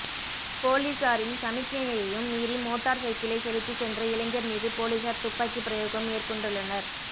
பொலிஸாரின் சமிக்ஞையையும் மீறி மோட்டார் சைக்கிளைச் செலுத்திச் சென்ற இளைஞர் மீது பொலிஸார் துப்பாக்கி பிரயோகம் மேற்கொண்டுள்ளனர்